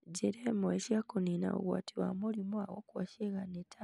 Njĩra imwe cia kũniina ũgwati wa mũrimũ wa gũkua ciĩga nĩ ta: